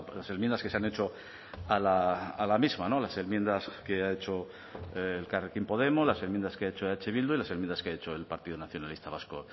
las enmiendas que se han hecho a la misma las enmiendas que ha hecho elkarrekin podemos las enmiendas que ha hecho eh bildu y las enmiendas que ha hecho el partido nacionalista vasco